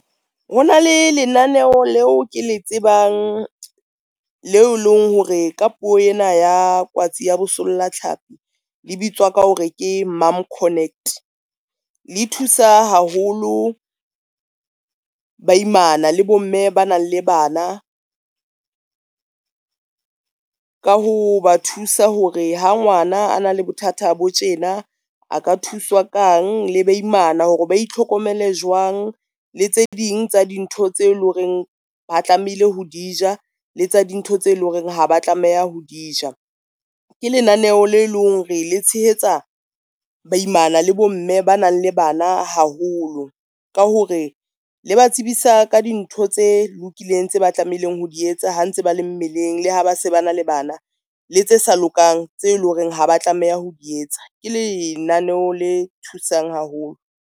Ho na le lenaneo leo, ke le tsebang leo eleng hore ka puo ena ya kwatsi ya bosolla thlapi le bitswa ka hore ke mom connect. Le thusa haholo ba imana le bomme ba nang le bana, ka ho ba thusa hore ha ngwana a na le bothata bo tjena, a ka thuswa kang le ba imana hore ba itlhokomele jwang, le tse ding tsa dintho tse leng hore ba tlamehile ho dija le tsa dintho tse leng hore ha ba tlameha ho di ja. Ke lenaneho le leng hore le tshehetsa baimana le bomme ba nang le bana haholo, ka hore le ba tsebisa ka dintho tse lokileng tse ba tlameileng ho di etsa ha ntse ba le mmeleng le ha ba se ba na le bana, le tse sa lokang tse leng hore ha ba tlameha ho di etsa, ke lenaneho le thusang haholo.